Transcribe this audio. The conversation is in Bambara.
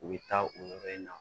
U bɛ taa o yɔrɔ in na